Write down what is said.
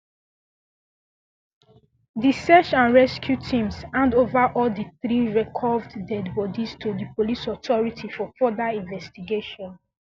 di search and rescue teams handover all di three recovered deadibodies to di police authority for further investigation